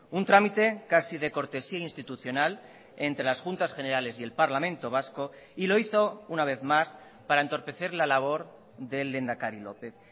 un trámite casi de cortesía institucional entre las juntas generales y el parlamento vasco y lo hizo una vez más para entorpecer la labor del lehendakari lópez